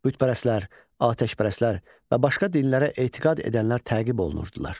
Bütpərəstlər, atəşpərəstlər və başqa dinlərə etiqad edənlər təqib olunurdular.